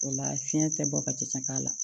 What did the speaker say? O la fiɲɛ tɛ bɔ ka ci k'a la